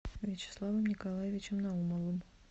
вячеславом николаевичем наумовым